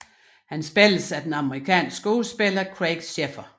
Han spilles af den amerikanske skuespiller Craig Sheffer